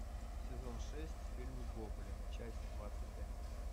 сезон шесть фильм гоблин часть двадцать один